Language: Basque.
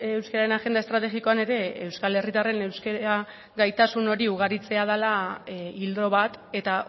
euskararen agenda estrategikoan ere euskal herritarren euskara gaitasun hori ugaritzea dela ildo bat eta